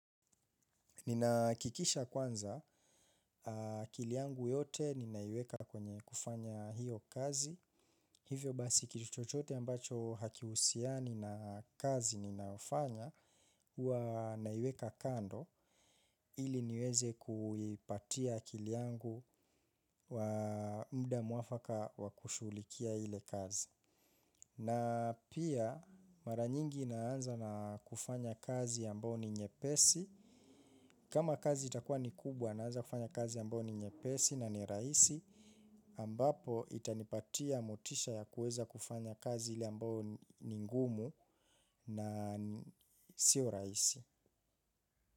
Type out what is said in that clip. Nina hakikisha kwanza akili yangu yote ninaiweka kwenye kufanya hiyo kazi. Hivyo basi kitu chochote ambacho hakihusiani na kazi ninayo fanya huwa naiweka kando ili niweze kuipatia akili yangu wa mda mwafaka wa kushughulikia ile kazi. Na pia mara nyingi naanza na kufanya kazi ambayo ni nyepesi. Kama kazi itakua ni kubwa naanza kufanya kazi ambayo ni nyepesi na ni rahisi. Ambapo itanipatia motisha ya kuweza kufanya kazi ile ambao ni ngumu na sio rahisi.